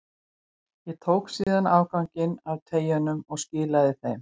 Ég tók síðan afganginn af treyjunum og skilaði þeim.